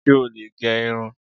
Ṣé ò lè gẹ irun?